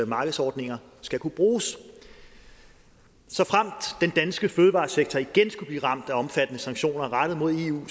markedsordninger skal kunne bruges såfremt den danske fødevaresektor igen skulle blive ramt af omfattende sanktioner rettet mod eu